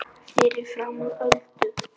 Fyrir framan Öldu.